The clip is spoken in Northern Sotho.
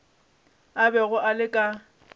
a bego a le ka